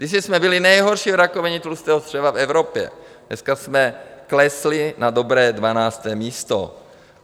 Kdysi jsme byli nejhorší v rakovině tlustého střeva v Evropě, dneska jsme klesli na dobré 12. místo.